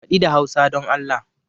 Faɗi da Hausa don Allah!